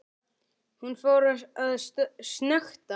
Hún fór að snökta.